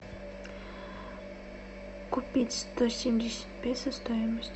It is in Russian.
купить сто семьдесят песо стоимость